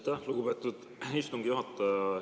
Aitäh, lugupeetud istungi juhataja!